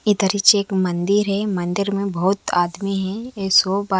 इधर एक मंदिर है मंदिर में बहुत आदमी हैं --